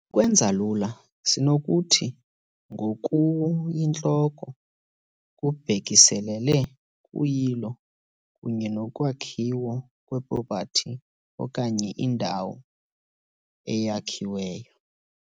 Ukwenza lula, sinokuthi ngokuyintloko kubhekiselele kuyilo kunye nokwakhiwa kwepropati okanye indawo eyakhiweyo .